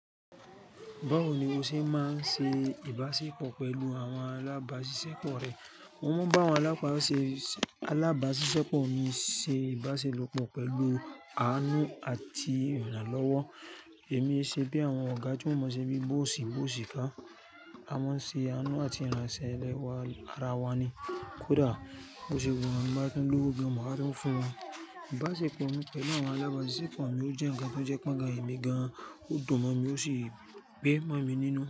Báwo ni o ṣe máa ń ṣe ìbáṣepọ̀ pẹ̀lú àwọn alábáṣiṣẹ́pọ̀ rẹ? Wọ́n máa ń bá àwọn alábáṣiṣẹ́pọ̀ mi ṣe ìbáṣelopọ̀ pẹ̀lú àánú àti ìrànlọ́wọ́. Èmi ṣe bí àwọn ọ̀gá tí wọ́n mọ̀ se bí bó ò sí, bó ò sì ká. A máa ń ṣe àánú àti ìrànṣẹ́ lẹ́wá ara wa ni. Kódà bó ṣe pé mi ti n ba tún lówó gan maa tun fún un. Ìbáṣepọ̀ mi pẹ̀lú àwọn alábáṣiṣẹ́pọ̀ mi ò jẹ́ ǹnkan tó jẹ́ pé oga èmi gan, ó dùn mo mí ó sì gbé mọ́ mi nínú.